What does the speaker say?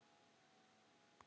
Kannski getið þið eytt þessu út?